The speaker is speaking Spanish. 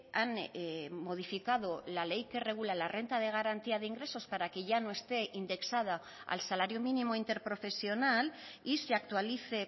han modificado la ley que regula la renta de garantía de ingresos para que ya no esté indexada al salario mínimo interprofesional y se actualice